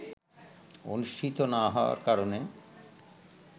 অনুষ্ঠিত না হওয়ার কারণে